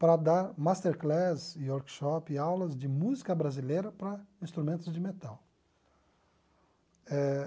para dar masterclass, workshop e aulas de música brasileira para instrumentos de metal eh